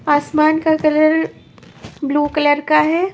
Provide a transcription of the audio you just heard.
आसमान का colour blue colour का है।